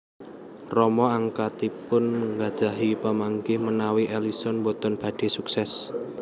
Rama angkatipun nggadhahi pamanggih menawi Ellison boten badhé suksés